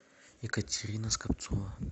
екатерина скопцова